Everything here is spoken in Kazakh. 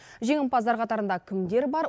жеңімпаздар қатарында кімдер бар